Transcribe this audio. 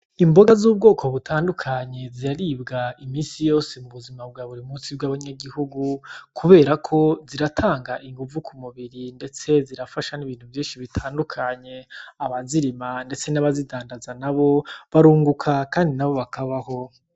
Imboga z'ubwoko butandukanye ziraribwa imisi yose mu buzima bwa buri munsi bw'abanyagihugu kubera ko ziratanga inguvu ku mubiri ndetse zirafasha n'ibintu vyinshi bitandukanye, abazirima ndetse n'abazidandaza nabo barunguka kandi nabo bakabaho.